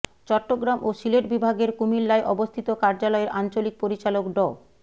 চট্টগ্রাম ও সিলেট বিভাগের কুমিল্লায় অবস্থিত কার্যালয়ের আঞ্চলিক পরিচালক ড